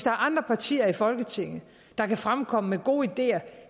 er andre partier i folketinget der kan fremkomme med gode ideer